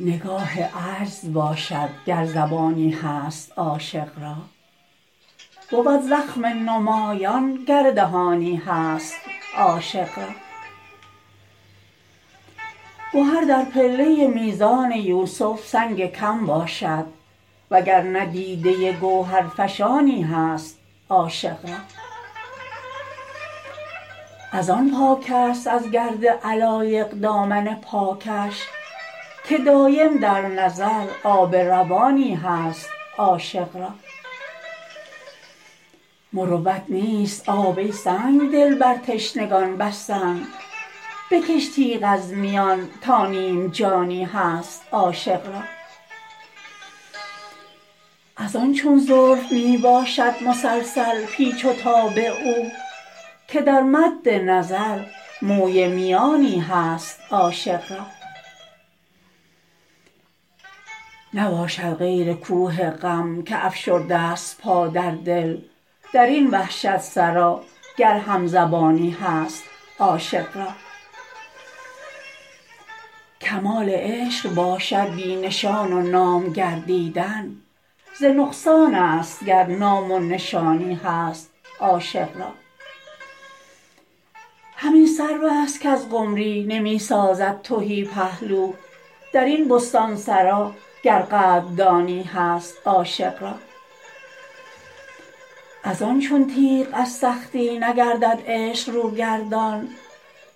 نگاه عجز باشد گر زبانی هست عاشق را بود زخم نمایان گر دهانی هست عاشق را گهر در پله میزان یوسف سنگ کم باشد وگرنه دیده گوهرفشانی هست عاشق را ازان پاک است از گرد علایق دامن پاکش که دایم در نظر آب روانی هست عاشق را مروت نیست آب ای سنگدل بر تشنگان بستن بکش تیغ از میان تا نیم جانی هست عاشق را ازان چون زلف می باشد مسلسل پیچ و تاب او که در مد نظر موی میانی هست عاشق را نباشد غیر کوه غم که افشرده است پا در دل درین وحشت سرا گر همزبانی هست عاشق را کمال عشق باشد بی نشان و نام گردیدن ز نقصان است گر نام و نشانی هست عاشق را همین سروست کز قمری نمی سازد تهی پهلو درین بستانسرا گر قدردانی هست عاشق را ازان چون تیغ از سختی نگردد عشق رو گردان